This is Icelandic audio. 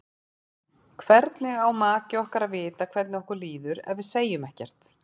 Hvernig á maki okkar að vita hvernig okkur líður ef við segjum ekkert?